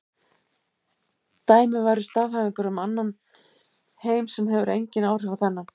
Dæmi væru staðhæfingar um annan heim sem hefur engin áhrif á þennan.